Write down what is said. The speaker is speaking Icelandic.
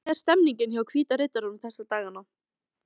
Hvernig er stemmningin hjá Hvíta riddaranum þessa dagana?